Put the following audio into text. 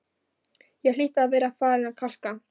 Ég hlýt að vera farin að kalka,